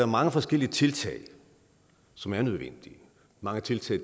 mange forskellige tiltag som er nødvendige mange tiltag